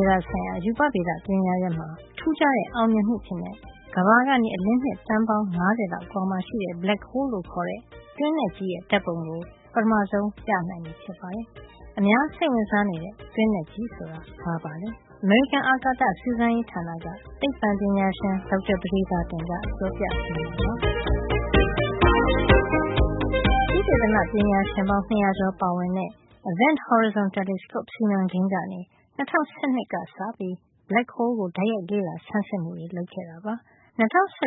ေဒ ဆိုင်ရာ ရူပဗေဒပညာရပ်မှာ ထူးခြားတဲ့ အောင်မြင်မှုအဖြစ် ကမ္ဘာကနေ အလင်းနှစ် သန်းပေါင်း ၅၀ လောက်အကွာမှာရှိတဲ့ black hole လို့ခေါ်တဲ့ တွင်းနက်ကြီးရဲ့ ဓါတ်ပုံကို နိုင်ငံတကာသိပ္ပံပညာရှင်တွေပါဝင်တဲ့အဖွဲ့က ပထမဆုံး ပြသနိုင်ပြီဖြစ်ပါတယ်။ အများ စိတ်ဝင်စား နေတဲ့ တွင်းနက်ကြီးဆိုတာ ဘာပါလဲ ဘယ်နေရာမှာ ရှိပါသလဲ။ အမေရိကန် အာကာသ စူးစမ်းရေး ဌာနက သိပ္ပံပညာရှင် ဒေါက်တာ ပဒေသာတင်က ပြောပြပေးမှာပါ။ သုတေသနပညာရှင်ပေါင်း ၂၀၀ ကျော်ပါဝင်တဲ့ Event Horizon Telescope စီမံကိန်းကနေ ၂၀၁၂ ခုနှစ်က စတင်ပြီး black hole ကို တိုက်ရိုက် လေ့လာဆန်းစစ်မှုတွေ လုပ်ခဲ့တာဖြစ်ပါတယ်။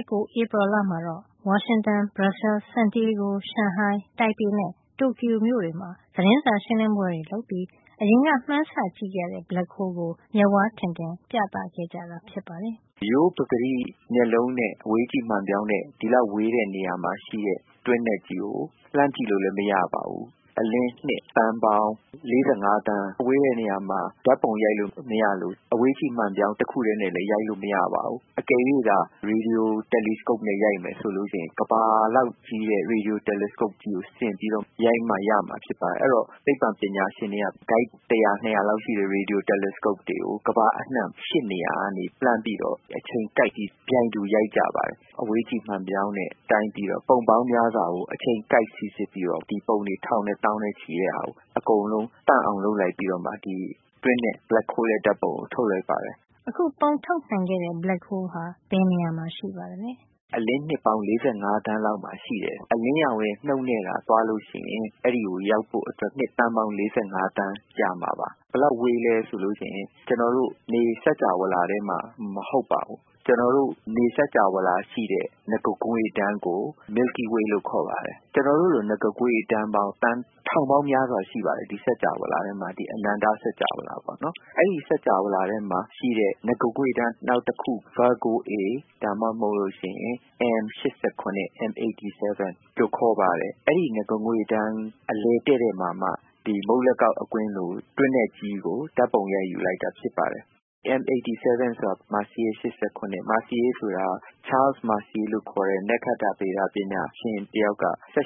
၂၀၁၉ ဝါရှင်တန်၊ Brussels, Santiago ၊ ရှန်ဟိုင်း၊ တိုင်ပေနဲ့ တိုကျိုတွေမှာ သတင်းစာရှင်းလင်းပွဲ လုပ်ပြီး အရင်က မှန်းဆကြည့်နေရတဲ့ black hole ကို အခု မျက်ဝါးထင်ထင် ပြသခဲ့ကြတာ ဖြစ်ပါတယ်။ ဒေါက်တာပဒေသာတင်။ ။“ရိုးရိုးပကတိမျက်လုံးနဲ့ရော အဝေးကြည့်မှန်ပြောင်းနဲ့ ဒီလောက်ဝေးတဲ့ နေရာမှာ ရှိတဲ့ တွင်းနက်ကြီးကို လှမ်းကြည့်လို့ မရပါဘူး။ ဘယ်လောက် ဝေးသလဲဆိုတော့ အလင်းနှစ် သန်းပေါင်း ၄၅ သန်း လောက် ဝေးတဲ့နေရာကို ဓါတ်ပုံရိုက်လို့ မရသလို အဝေးကြည့် မှန်ပြောင်းနဲ့လည်း ရိုက်လို့ မရပါဘူး။ တကယ်လို့သာ ရေဒီယို တယ်လီစကုပ်နဲ့ ရိုက်မယ်ဆိုရင် ကမ္ဘာလောက် ကြီးတဲ့ ရေဒီယို တယ်လီစကုပ်ကြီး ဆင်ပြီးမှ ရိုက်လို့ရမှာ ဖြစ်ပါတယ်။ အဲဒီတော့ သိပ္ပံပညာရှင် တွေက ကိုက် တရာ ၂ ရာလောက် ရှိတဲ့ ရေဒီယို တယ်လီစကုပ်တွေကို ကမ္ဘာအနှံ့ ၈ နေရာမှာထားပြီး အဲဒီကနေ လှမ်းပြီးတော့ အချိန်ကိုက်ပြီး ပြိုင်တူရိုက်ကြပါတယ်။ အဝေးကြည့် မှန်ပြောင်းနဲ့ တိုင်းပြီးတော့ ပုံပေါင်းများစွာကို အချိန်ကိုက် စီစစ်ပြီးတော့ ဒီပုံတွေ ထောင်နဲ့ သောင်းနဲ့ချီတဲ့ ဟာကို အကုန်လုံး သန့်အောင် လုပ်လိုက်ပြီးတော့မှ ဒီတွင်းနက် black hole ရဲ့ ဓါတ်ပုံကို ထုတ်လိုက်တာပါ။ အခု ပုံထုတ်နိုင်ခဲ့တဲ့ black hole ဟာ ဘယ်နေရာမှာ ရှိပါသလဲ။ 2. ဒေါက်တာပဒေသာတင်။ ။“ကမ္ဘာကနေ အလင်းနှစ်ပေါင်း ၄၅ သန်း လောက်အကွာဝေးမှာ ရှိတယ်။ အလင်းရောင်ရဲ့ နှုန်းနဲ့သာ သွားလို့ရှိရင် အဲဒီကို ရောက်ဖို့အတွက် နှစ်သန်းပေါင်း ၄၅ သန်း ကြာမှာပါ။ ဘယ်လောက်ဝေးသလဲ ဆိုရင် သူက ကျနော်တို့ နေစင်္ကြာဝဌာမှာ မဟုတ်ပါဘူး။ ကျနော်တို့ နေ စကြဝဠာ ရှိတဲ့ နဂါးငွေ့တန်းကို milkyway လို့ခေါ်ပါတယ်။ ကျနော်တို့လို နဂါးငွေ့တန်းပေါင်း သန်း ထောင်ပေါင်းများစွာ ရှိပါတယ် ဒီ စကြဝဠာ ထဲမှာပေါ့နော်။ အဲဒီ စကြဝဠာ ထဲမှာရှိတဲ့ နဂါးငွေ့တန်း နောက်တခုကို နံမယ်ပေးထားတာက Virgo A ဒါမှမဟုတ် M 87 လို့ခေါ်ပါတယ်။ အဲဒီ နဂါးငွေ့တန်း အလယ်တဲ့တဲ့ မှာမှ အခုပုံမှာ မြင်ကြရတဲ့မုန့်လက်ကောက် အကွင်းလို ဟာကို ဓါတ်ပုံရိုက်ယူလိုက်တာ ဖြစ်ပါတယ်။ M 87 ဆိုတာက Messier 87 ပါ။ ပြင်သစ် နက္ခတ္တဗေဒ ပညာရှင် Charles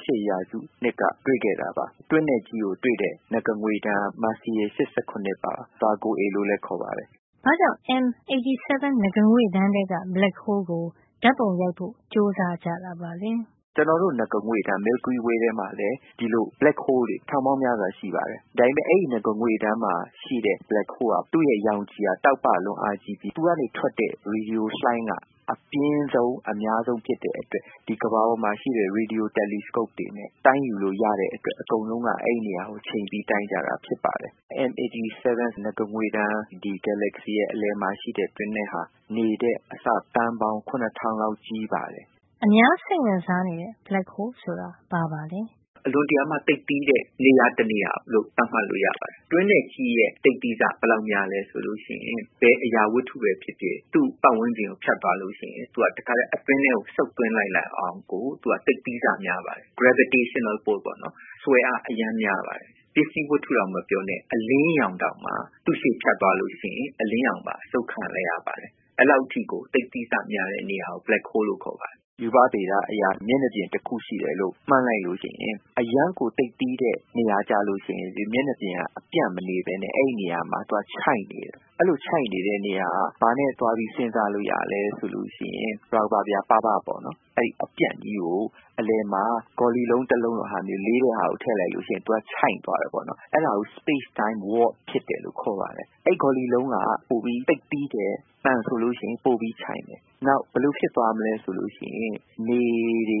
Messier က ၁၈ ရာစုမှာ တွေ့ခဲ့တာပါ။ တွင်းနက်ကြီးကို တွေ့တဲ့ နဂါးငွေ့တန်းက Messier 87 ပါ။ Virgo A လို့လည်း ခေါ်ပါတယ်။ ဘာ့ကြောင့် M 87 နဂါးငွေ့တန်းထဲက black hole ကို ဓါတ်ပုံရိုက်ဖို့ ကြိုးစားတာပါလဲ။ ဒေါက်တာပဒေသာတင်။ ။“ကျနော်တို့ နဂါးငွေ့တန်း milkyway ထဲမှာလည်း ဒီလို black hole တွေ ထောင်ပေါင်းများစွာ ရှိပါတယ်။ ဒါပေမယ့် အဲဒီ နဂါးငွေ့တန်းမှာရှိတဲ့ black hole က သူ့ရဲ့ ရောင်ခြည်က တောက်ပလွန်းအားကြီးပြီး သူကနေ ထွက်တဲ့ ရေဒီယို လှိုင်းက အပြင်းဆုံး၊ အများဆုံး ဖြစ်တဲ့အတွက် ဒီ ကမ္ဘာပေါ်မှာ ရှိတဲ ရေဒီယိုတယ်လီစကုပ်တွေနဲ့ တိုင်းယူလို့ ရတဲ့အတွက် အကုန်လုံးက အဲဒီနေရာကို ချိန်ပြီး တိုင်းကြတာ ဖြစ်ပါတယ်။ M 87 နဂါးငွေ့တန်း၊ ဒီ galazy ရဲ့ အလယ်မှာ ရှိတဲ့ တွင်းနက်ဟာ နေထက် အဆ သန်းပေါင်း ၇၀၀၀ လောက်ကြီးပါတယ်။” အများစိတ်ဝင်စားနေတဲ့ Black hole ဆိုတာ ဘာပါလဲ ဒေါက်တာပဒေသာတင်။ ။“အလွန်တရာမှ သိပ်သည်းဆကြီးတဲ့ နေရာ တနေရာလို့ သတ်မှတ်လို့ ရပါတယ်။ တွင်းနက်ကြီးရဲ့ သိပ်သည်းဆ ဘယ်လောက်များသလဲ ဆိုရင်၊ ဘယ်အရာဝတ္တုပဲ ဖြစ်ဖြစ် သူ့ပတ်ဝန်းကျင်ကို ဖြတ်သွားရင် သူက တခါထဲ အတွင်းထဲကို စုပ်သွင်းလိုက် နိုင်အောင်ကို သူက သိပ်သည်းဆ များပါတယ်။ gravitational force ပေါ့နော်။ ဆွဲအား အရမ်းများပါတယ်။ ပစ္စည်း ဝတ္တု မပြောနဲ့ အလင်းရောင်တောင် သူ့ရှေ့မှာ ဖြတ်သွားလို့ ရှိရင် အလင်းရောင်တောင် အစုပ်ခံလိုက်ရပါတယ်။ အဲဒီလောက် အထိကို သိပ်သည်းဆ များတဲ့ နေရာကို black holes လို့ခေါ်ပါတယ်။ ရူပဗေဒအရ မျက်နှာပြင် တခု ရှိတယ်လို့ မှန်းလိုက်လို့ရှိရင် အရမ်းကို သိပ်သည်းတဲ့ နေရာ ကျလို့ရှိရင် ဒီမျက်နှာပြင်က အပြန့်မနေပဲ အဲဒီနေရာမှာ သွားချိုင့်နေပါတယ်။ အဲဒီလို ချိုင့်နေတဲ့ နေရာအတွက် ဘာနဲ့ သွားစဉ်းစာလို့ ရသလဲ ဆိုရင် ရာဘာပြား ပါးပါးပေါ့နော်၊ အပြန့်ကြီးကို အလယ်မှာ ဂေါ်လီလုံး တလုံးလို လေးတဲ့ဟာမျိုး ထားလိုက်ရင် သူက ချိုင့်သွားတယ်ပေါ့နော်။ အဲဒါကို space- time work ဖြစ်တယ်လို့ ခေါ်ပါတယ်။ အဲဒီဂေါ်လီလုံးက သိပ်ပြီး သိပ်သည်းတဲ့ သံဆိုလို့ရှိရင် ပိုပြီး ချိုင့်မယ်။ နောက် ဘယ်လိုဖြစ်သွားမလဲ ဆိုရင် ကျနော်တို့ရဲ့ နေတွေ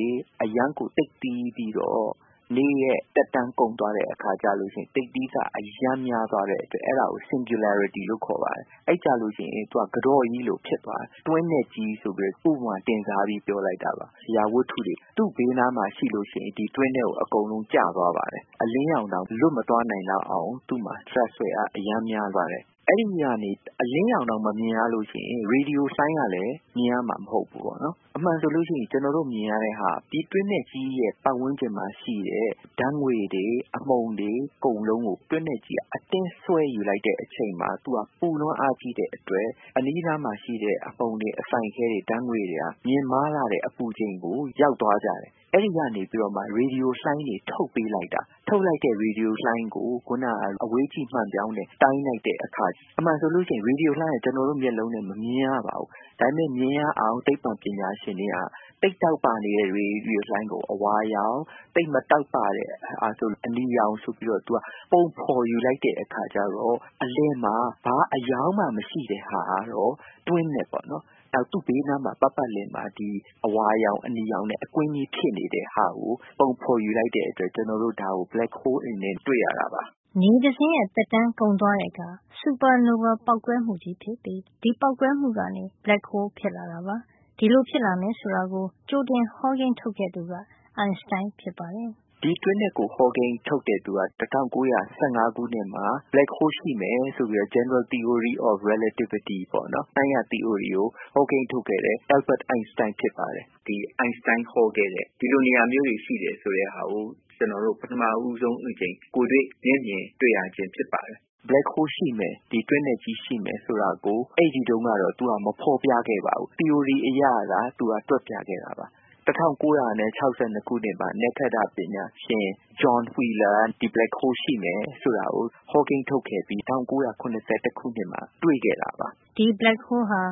နေရဲ့ သက်တမ်းကုန်သွားတဲ့အခါမျိုးမှာ သိပ်သည်းဆ အရမ်းများသွားတဲ့ အတွက် အဲဒါကို singularity လို့ခေါ်ပါတယ်။ အဲဒီအခါကျရင် သူက ကတော့ကြီးလို ဖြစ်သွားမယ်။ သူ့ကို တွင်းနက်ကြီးလို့ တင်စားပြီးပြောလိုက်တာပါ။ အရာဝတ္တုတွေ သူ့ဘေးနားမှာ ရှိလို့ရှိရင် ဒီတွင်းထဲကို အကုန်လုံး ကျသွားပါတယ်။ အလင်းရောင်တောင် လွတ်မသွား နိုင်လောက်အောင် သူ့မှာ ဒြပ်ဆွဲအား အရမ်းများလို့ တွင်းနက်ကြီးလို့ ခေါ်ပါတယ်။ အဲဒီမှာ အလင်းရောင်တောင် မမြင်ရရင် ရေဒီယိုလှိုင်းကလည်း မြင်ရမှာ မဟုတ်ပါဘူး။ တကယ်တော့ ကျနော်တို့ မြင်ရတာက ဒီတွင်းနက်ကြီးရဲ့ ပတ်ဝန်းးကျင်မှာရှိတဲ့ ဓါတ်ငွေ့တွေ၊ အမှုန်တွေ၊ တိမ်တိုက်တွေ အကုန်လုံးကို တွင်းနက်ကြီးက အတင်း ဆွဲယူလိုက်တဲ့အချိန်မှာ သူက ပူလွန်းအားကြီး တဲ့အတွက် အနီးနားက အမှုန်တွေ အစိုင်ခဲတွေ ဓါတ်ငွေ့တွေက မြင့်မားလှတဲ့ အပူချိန်ကို ရောက်သွားကြတယ်။ အဲဒီကနေမှ ရေဒီယို လှိုင်းတွေ ထုတ်ပေးလိုက်တာ။ ထုတ်လိုက်တဲ့ ရေဒီယို လှိုင်းကို ခုန အဝေးကြည့်မှန်ပြောင်းနဲ့ တိုင်းလိုက်တဲ့ အခါ၊ အမှန်ဆို ရေဒီယို လှိုင်းက ကျနော်တို့ မျက်လုံးနဲ့ မမြင်ရပါဘူး။ ဒါပေမယ့် မြင်ရအောင် သိပ္ပံပညာရှင်တွေက သိပ်တောက်ပနေတဲ့ ရေဒီယို လှိုင်းကို အဝါရောင်၊ သိပ်မတောက်ပရင် အနီရောင် ဆိုပြီး ပုံဖေါ်ယူလိုက်တဲ့အခါ အလယ်မှာ ဘာအရောင်မှ မရှိတဲ့ဟာကတော့ တွင်းနက်ပေါ့နော်။ သူ့ဘေး ပတ်ပတ်လည်မှာ အဝါရောင် အနီရောင်နဲ့ အကွင်းကြီး ဖြစ်နေတဲ့ဟာကို ပုံဖေါ်ယူလိုက်တဲ့အတွက် ဒါကို black hole အနေနဲ့ တွေ့ရတာပါ။” နေတစင်းရဲ့ သက်တမ်းကုန်သွားတဲ့အခါ Supernova ပေါက်ကွဲမှုဖြစ်ပြီး ဒီပေါက်ကွဲမှုကနေ black hole ဖြစ်လာတာပါ။ ဒီလိုဖြ စ်လာမယ် ဆိုတာကို ကြိုတင်ဟောကိန်းထုတ်ခဲ့သူက အိုင်စတိုင်း ဖြစ်ပါတယ်။ ဒေါက်တာပဒေသာတင်။ ။“ဒီ တွင်းနက်ကို ဟောကိန်းထုတ်ခဲ့သူက ၁၉၁၅ ခုနှစ်မှာ Black hole ရှိမယ်ဆိုတဲ့ သီအိုရီ of relativity နှိုင်းရသီအိုရီကို ဟောကိန်းထုတ်ခဲ့တဲ့ Albert အိုင်စတိုင်း ဖြစ်ပါတယ်။ အိုင်စတိုင်းပြောခဲ့တဲ့ ဒီလိုနေရာမျိုးတွေ ရှိတယ်ဆိုတဲ့ဟာကို ကျနော်တို့ ပထမဦးဆုံး ကိုယ်တွေ့ မျက်မြင် တွေ့ရတာဖြစ်ပါတယ်။ ဒီတွင်းနက်ကြီး ရှိမယ် ဆိုတာကို အဲဒီတုန်းကတော့ သူက မဖေါ်ပြခဲ့ပါဘူး။ သီအိုရီ အရသာ တွက်ပြခဲ့တာပါ။ ၁၉၆၂ ခုနှစ်မှာ နက္ခတ္တပညာရှင် John Wheeler ကနေ black hole ရှိမယ် ဆိုတာကို ဟောကိန်းထုတ်ခဲ့ပြီး ၁၉၇၁ ခုနှစ်မှာ တွေ့ခဲ့တာပါ။” ဒီ Black hole ဟာ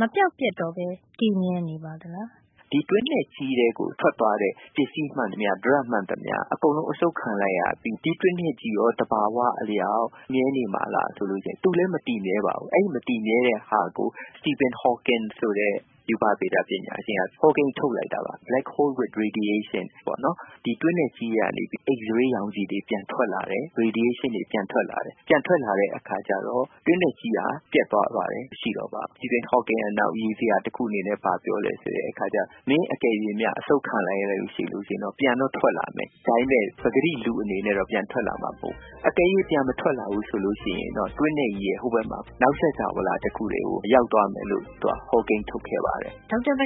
မပျောက်ပျက်တော့ပဲ တည်မြဲနေပါသလား။ ဒေါက်တာပဒေသာတင်။ ။“ဒီတွင်းနက်ကြီးထဲကို ထွက်သွားတဲ့ ပစ္စည်းမှန်သမျှ ဒြပ်မှန်သမျှ အကုန်လုံး အစုပ်ခံလိုက်ရတယ်။ ဒီတွင်းနက်ကြီးရော သဘာဝ အလျှောက် မြဲနေပါသလား ဆိုရင် သူလည်း မမြဲပါဘူး။ အဲဒီ မတည်မြဲတဲ့ဟာကို Stephen Hawking ဆိုတဲ့ ရူပဗေဒ ပညာရှင်က ဟောကိန်း ထုတ်လိုက်တာပါ။ black hole with radiation ပေါ့နော်။ ဒီတွင်းနက်ကြီးကနေ x- ray ရောင်ခြည် တွေ ပြန်ထွက်လာတယ်။ radiation တွေ ပြန်ထွက်လာတယ်။ အဲဒီလို ပြန်ထွက်လာတဲ့ အခါကျတော့ တွင်းနက်ကြီးဟာ ပျက်သွားပါတယ်။ မရှိတော့ပါဘူး။ Stephen Hawking ကနောက် ရီစရာ တခု အနေနဲ့ ဘာပြောသလဲ ဆိုတော့ မင်း တကယ်လို့များ တွင်းနက်ကြီးအစုပ်ခံလိုက်ရရင် ပြန်တော့ ထွက်လာမယ်။ ဒါပေမယ့် ပကတိ လူအနေနဲ့တော့ ပြန်ထွက်လာမှာ မဟုတ်ဖူး။ တကယ်လို့ ပြန်မထွက်လာဘူး ဆိုရင်တော့ တွင်းနက်ကြီးရဲ့ ဟိုဘက်မှာ နောက် စကြဝဠာ တခုထဲကို ရောက်သွားမယ်လို့ သူက ဟောကိန်း ထုတ်ခဲ့ပါတယ်။” ဒေါက်တာ ပ